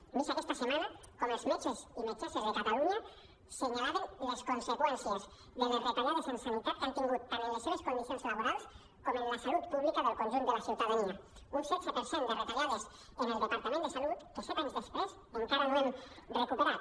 hem vist aquesta setmana com els met·ges i metgesses de catalunya assenyalaven les conseqüències que les retallades en sanitat han tingut tant en les seves condicions laborals com en la salut pública del conjunt de la ciutadania un setze per cent de retallades en el departament de salut que set anys després encara no hem recuperat